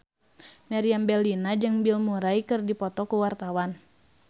Meriam Bellina jeung Bill Murray keur dipoto ku wartawan